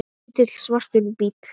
Lítill, svartur bíll.